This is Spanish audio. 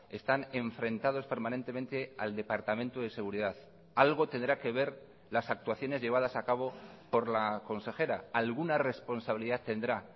están enfrentados permanentemente al departamento de seguridad algo tendrá que ver las actuaciones llevadas a cabo por la consejera alguna responsabilidad tendrá